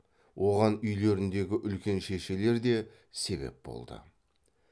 оған үйлеріндегі үлкен шешелер де себеп болды